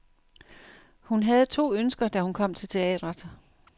Hun havde to ønsker, da hun kom til teatret.